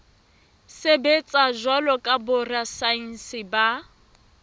sebetsa jwalo ka borasaense ba